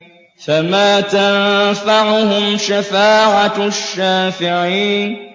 فَمَا تَنفَعُهُمْ شَفَاعَةُ الشَّافِعِينَ